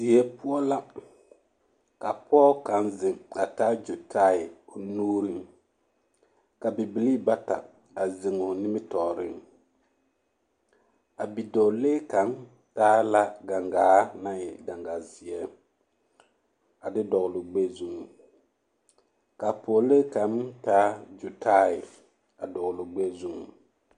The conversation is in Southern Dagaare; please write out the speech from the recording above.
Die poɔ la ka pɔge kaŋa zeŋ a taa gyotae nuuriŋ ka bibilii bata a zeŋ o nimitɔɔreŋ a bidɔɔlee kaŋ taa la gaŋgaa naŋ e gaŋgaa zeɛ a de dɔgle o gbɛɛ zuŋ ka pɔgelee kaŋ taa gyotae a dɔgle o gbɛɛ zuŋ.